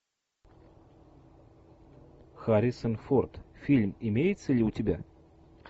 харрисон форд фильм имеется ли у тебя